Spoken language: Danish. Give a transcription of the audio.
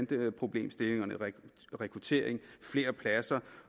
bandeproblemstillingerne rekrutteringen flere pladser